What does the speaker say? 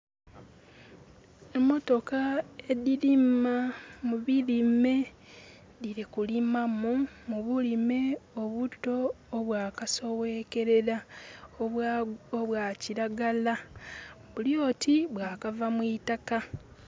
Emotoka edhirima mu birime dhiri kulimamu mu bulime obuto obwakasowekelera, obwa kilagala bulioti bwakava mwitaka.